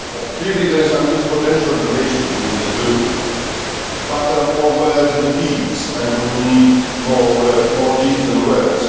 Clearly there is unused potential in relations between the two, but there are more words than deeds and we need more deeds than words.